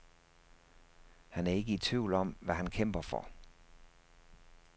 Han er ikke i tvivl om, hvad han kæmper for.